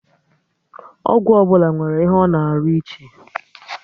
Ọgwụ ọbụla nwere ihe ọ na arụ ịche